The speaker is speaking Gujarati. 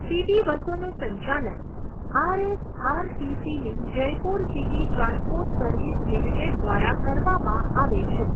સિટી બસોનું સંચાલન આરએસઆરટીસીની Jaipur city transport service limited દ્વારા કરવામાં આવે છે.